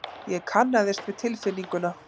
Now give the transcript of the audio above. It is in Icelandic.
Ég kannaðist við tilfinninguna.